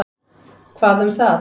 Hvað um það?